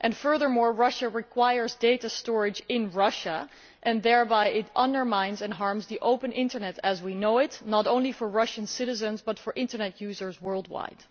Furthermore, Russia requires data storage in Russia, and thereby it undermines and harms the open internet as we know it, not only for Russian citizens but for internet users worldwide.